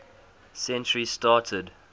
century started